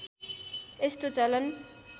यस्तो चलन